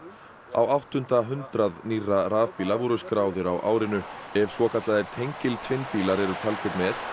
á áttunda hundrað nýrra rafbíla voru skráðir á árinu ef svokallaðir tengiltvinnbílar eru taldir með